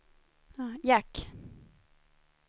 jack